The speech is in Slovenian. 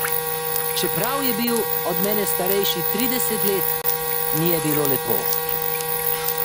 Čeprav je bil od mene starejši trideset let, mi je bilo lepo.